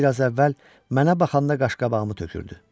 Biraz əvvəl mənə baxanda qaşqabağımı tökürdü.